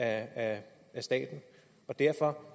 af staten og derfor